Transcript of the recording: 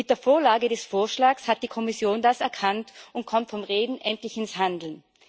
Mit der Vorlage des Vorschlags hat die Kommission das erkannt und kommt vom Reden endlich ins Handeln.